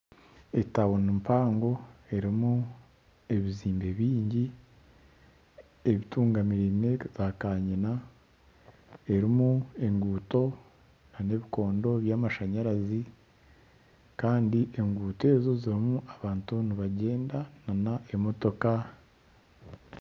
Etawuni mpango erumu ebizimbe byingi ebitungamirine zakanyina erumu enguuto n'ebikondo byamashanyarazi Kandi enguuto ezo zirumu abantu nibagyenda n'emotoka .